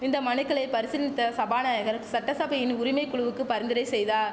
இந்த மனுக்களை பரிசீல்னித்த சபாநாயகர் சட்டசபையின் உரிமை குழுவுக்கு பரிந்துரை செய்தா